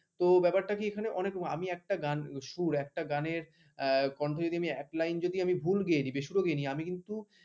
তো ব্যাপারটা কি এখানে অনেক আমি গান একটা সুর একটা গানের কন্ঠ যদি আমি এক line যদি আমি ভুল গেয়ে দিই বেসুরও গেয়েনি আমি কিন্তু